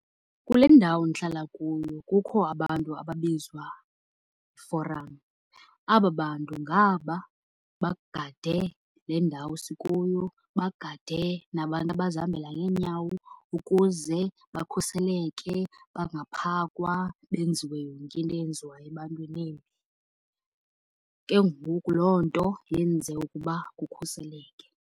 Kule ndawo ndihlala kuyo kukho abantu ababizwa forum. Aba bantu ngaba bagade le ndawo sikuyo, bagade nabantu abazihambela ngeenyawo ukuze bakhuseleke, bangaphakwa benziwe yonke into eyenziwayo ebantwini embi. Ke ngoku loo nto yenze ukuba kukhuseleke.